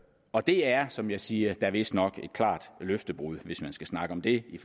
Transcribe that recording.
og det er som jeg siger da vistnok et klart løftebrud hvis man skal snakke om det i